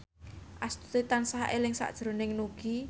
Astuti tansah eling sakjroning Nugie